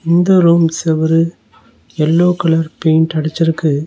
இந்த ரூம் செவுரு yellow colour paint அடிச்சிருக்கு.